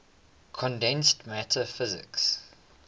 condensed matter physics